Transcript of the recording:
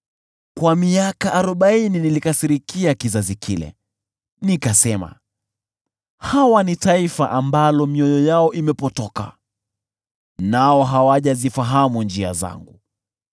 Kwa miaka arobaini nilikasirikia kizazi kile, nikasema, “Hawa ni taifa ambalo mioyo yao imepotoka, nao hawajazijua njia zangu.”